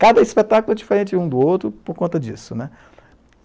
Cada espetáculo é diferente um do outro por conta disso.